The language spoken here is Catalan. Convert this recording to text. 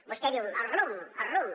vostè diu el rumb el rumb